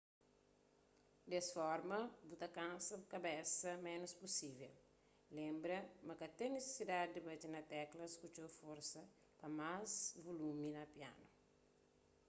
des forma bu ta kansa bu kabesa ménus pusível lenbra ma ka ten nisisidadi di bate na teklas ku txeu forsa pa más vulumi na pianu